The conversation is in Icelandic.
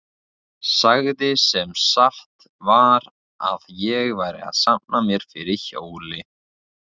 Sagði sem satt var að ég væri að safna mér fyrir hjóli.